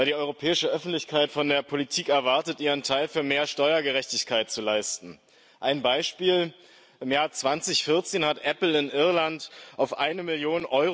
Weil die europäische Öffentlichkeit von der Politik erwartet, ihren Teil für mehr Steuergerechtigkeit zu leisten. Ein Beispiel Im Jahr 2014 hat Apple in Irland auf 1 Mio.